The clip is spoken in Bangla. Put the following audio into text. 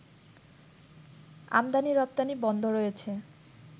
আমদানি রপ্তানি বন্ধ রয়েছে